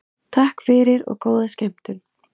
Takk fyrir og góða skemmtun.